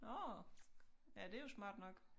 Nårh ja det jo smart nok